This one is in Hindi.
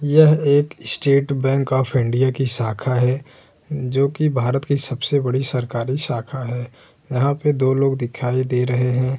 यह एक स्टेट बैंक ऑफ़ इंडिया की शाखा है जोकि भारत की सबसे बड़ी सरकारी शाखा है। यहाँ पे दो लोग दिखाई दे रहे हैं।